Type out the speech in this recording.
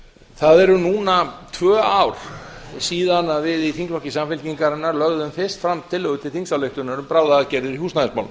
það eru núna tvö ár síðan við í þingflokki samfylkingarinnar lögðum fyrst fram tillögu til þingsályktunar um bráðaaðgerðir í húsnæðismálum